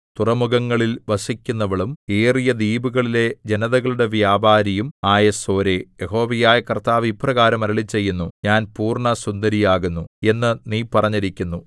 തുറമുഖങ്ങളിൽ വസിക്കുന്നവളും ഏറിയ ദ്വീപുകളിലെ ജനതകളുടെ വ്യാപാരിയും ആയ സോരേ യഹോവയായ കർത്താവ് ഇപ്രകാരം അരുളിച്ചെയ്യുന്നു ഞാൻ പൂർണ്ണസുന്ദരിയാകുന്നു എന്ന് നീ പറഞ്ഞിരിക്കുന്നു